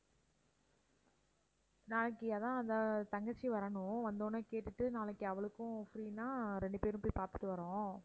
நாளைக்கு அதான் த~ தங்கச்சி வரணும் வந்தவுடனே கேட்டுட்டு நாளைக்கு அவளுக்கும் free னா ரெண்டு பேரும் போய் பார்த்துட்டு வர்றோம்